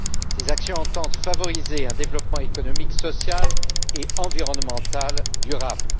Ces actions entendent favoriser un développement économique, social et environnemental durable.